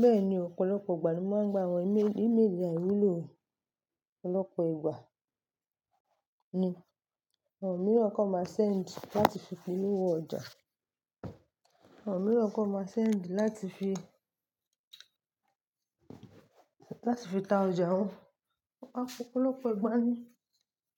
Bẹ́ẹ̀ni ọ̀pọ̀lọpọ̀ ìgbà ni wọ́n máa ń gba àwọn email, email àìwúlò. Ọ̀pọ̀lọpọ̀ ìgbà ni àwọn mìíràn kàn máa send láti fi polówó ọjà wọn. Ọ̀pọ̀lọpọ̀ ìgbà ni